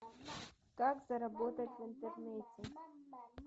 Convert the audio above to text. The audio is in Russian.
как заработать в интернете